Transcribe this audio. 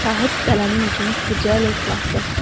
Sahib qələmin ucunu tüpürcəklə islatdı.